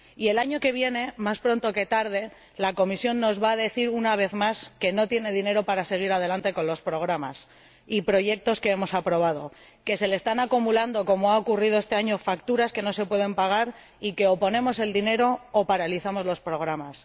Y el año que viene, más pronto que tarde, la Comisión nos va a decir, una vez más, que no tiene dinero para seguir adelante con los programas y proyectos que hemos aprobado, que se le están acumulando, como ha ocurrido este año, facturas que no se pueden pagar y que o ponemos el dinero o paralizamos los programas.